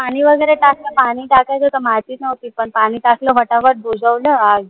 पानी वगैरे टाकलं पानी टाकायचं होत माहितीच नव्हती पन पानी टाकलं फटाफट बुझवल आग